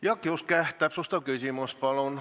Jaak Juske, täpsustav küsimus, palun!